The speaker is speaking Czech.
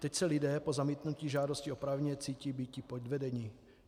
Teď se lidé po zamítnutí žádosti oprávněně cítí být podvedeni.